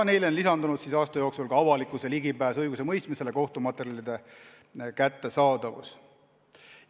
Neile teemadele on aasta jooksul lisandunud avalikkuse ligipääs õigusemõistmisele, kohtumaterjalide kättesaadavus.